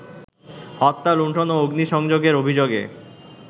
হত্যা, লুন্ঠন ও অগ্নিসংযোগের অভিযোগে